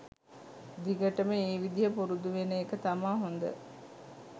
දිගටම ඒ විදිය පුරුදු වෙන එක තමා හොද.